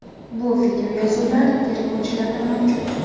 Bu videoyozuvlar tergovchilarda mavjud.